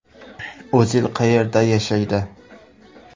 O‘zil qayerda yashaydi?